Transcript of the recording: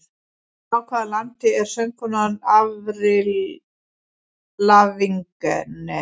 Frá hvaða landi er söngkonan Avril Lavigne?